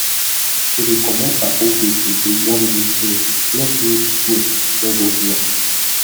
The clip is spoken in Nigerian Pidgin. we dey comot charcoal bits if we burn bush finish make root growth no go block